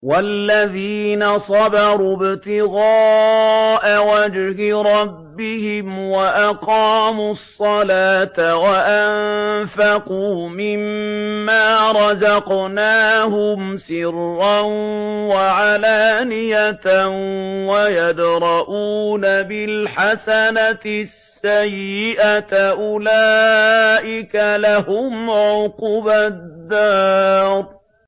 وَالَّذِينَ صَبَرُوا ابْتِغَاءَ وَجْهِ رَبِّهِمْ وَأَقَامُوا الصَّلَاةَ وَأَنفَقُوا مِمَّا رَزَقْنَاهُمْ سِرًّا وَعَلَانِيَةً وَيَدْرَءُونَ بِالْحَسَنَةِ السَّيِّئَةَ أُولَٰئِكَ لَهُمْ عُقْبَى الدَّارِ